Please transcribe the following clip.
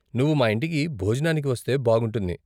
నువ్వు మా ఇంటికి భోజనానికి వస్తే బాగుంటుంది.